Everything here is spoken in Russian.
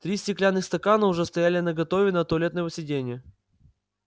три стеклянных стакана уже стояли наготове на туалетном сиденье